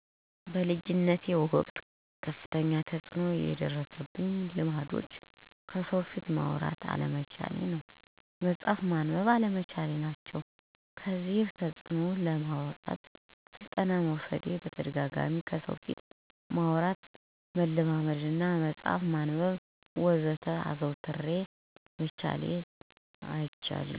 በልጅነት ወቅት ከፍተኛ ተጽዕኖ የደረሱኝ ልማዶች ከሰው ፊት ማውራት አለመቻል፣ መጽሀፍ ማንበብ አለመቻል ናቸው። ከዚህ ተፅዕኖ ለማውጣት ስልጠና መውሰድ በተደጋጋሚ ከሰው ፊት ማውራትን መለማመድ እና መፅሀፍ ማንበብ ማዘውተር እነ ከሰው በደንብ መግባባት ናቸው